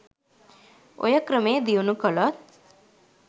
ඔය ක්‍රමේ දියුණූ කලොත්